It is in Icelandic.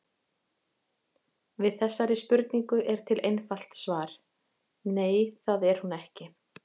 Við þessari spurningu er til einfalt svar: Nei, það er hún ekki.